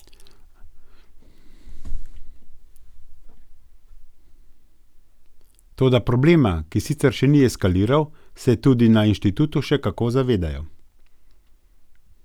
Toda problema, ki sicer še ni eskaliral, se tudi na inštitutu še kako zavedajo.